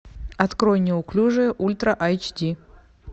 открой неуклюжие ультра айч ди